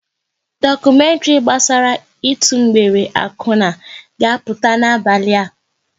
Dokumentri gbasara ịtụ mgbere akwuna ga-apụta n'abalị a